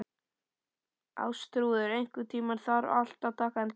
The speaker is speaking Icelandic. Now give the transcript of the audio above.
Ástþrúður, einhvern tímann þarf allt að taka enda.